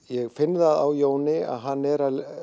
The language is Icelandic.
ég finn það á Jóni að hann er að